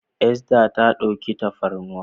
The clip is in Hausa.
Esther ta ɗauka tafarnuwan.